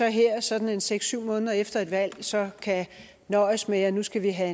her sådan seks syv måneder efter et valg så kan nøjes med at nu skal vi have